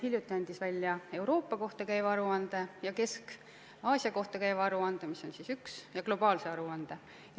Hiljuti avaldati Euroopa ja Kesk-Aasia kohta käiv aruanne ja globaalne aruanne.